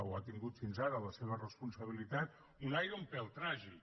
o ha tingut fins ara la seva responsabilitat un aire un pèl tràgic